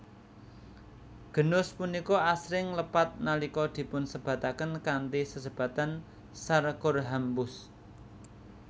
Genus punika asring lepat nalika dipunsebataken kanthi sesebatan Sarcorhamphus